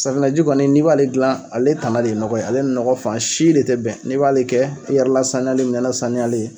Safinɛji kɔni n'i b'ale gilan ale tana de ye nɔgɔ ye ale ni ɲɔgɔ fan si de te bɛn n'i b'ale kɛ e yɛrɛ lasaniyalen minɛn lasaniyalen